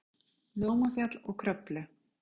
Námafjall og Kröflu.